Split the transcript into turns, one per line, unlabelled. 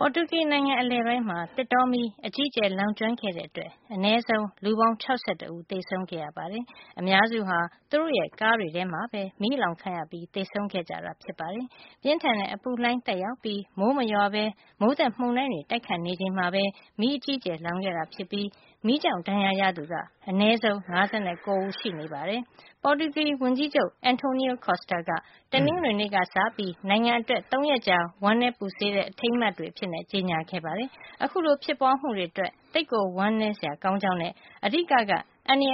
ပေါ်တူဂီ နိုင်ငံအလယ်ပိုင်းမှာ သစ်တောမီး အကြီးအကျယ် လောင်ကျွမ်းခဲ့တဲ့အတွက် အနည်းဆုံး လူပေါင်း ၆၁ ဦး သေဆုံးခဲ့ရပါတယ်။ အများစုဟာ သူတို့ရဲ့ ကားတွေထဲမှာပဲ မီးအလောင်ခံရပြီး သေဆုံးခဲ့ကြတာ ဖြစ်ပါတယ်။ ပြင်းထန်တဲ့ အပူလှိုင်း သက်ရောက်ပြီး မိုးမရွာပဲ မိုးသက်မုန်တိုင်းတွေ တိုက်ခတ်နေချိန်မှာပဲ မီးအကြီးအကျယ်လောင်ခဲ့တာ ဖြစ်ပြီး မီးကြောင့် ဒဏ်ရာရသူက အနည်းဆုံး ၅၉ ဦး ရှိနေပါတယ်။ ပေါ်တူဂီ ဝန်ကြီးချုပ် Antonio Costa က တနင်္ဂနွေနေ့က စပြီး နိုင်ငံအတွက် ၃ ရက်ကြာ ဝမ်းနည်းပူဆွေးတဲ့ အထိမ်းအမှတ် နေ့တွေ အဖြစ် ကြေညာခဲ့ပါတယ်။ အခုလို ဖြစ်ပွါးမှုတွေ အတွက် သိပ်ကို ဝမ်းနည်းစရာကောင်းကြောင်းနဲ့ အဓိက အန္တရာယ်